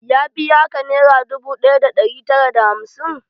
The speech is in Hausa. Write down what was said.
Ya biya ka nera dubu ɗaya da ɗari tara da hamsin?